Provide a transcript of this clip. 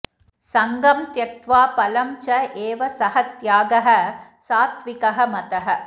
सङ्गम् त्यक्त्वा फलम् च एव सः त्यागः सात्त्विकः मतः